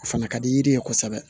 O fana ka di yiri ye kosɛbɛ